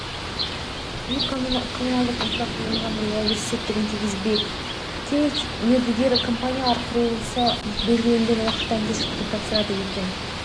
үй-коммуналдық инфрақұрылымын жаңғыртуға өз септігін тигізбек кей мердігер компаниялар құрылысты белгіленген уақыттан кешіктіріп тапсырады екен